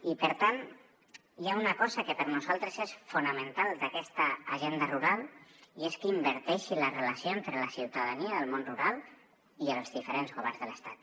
i per tant hi ha una cosa que per nosaltres és fonamental d’aquesta agenda rural i és que inverteixi la relació entre la ciutadania del món rural i els diferents governs de l’estat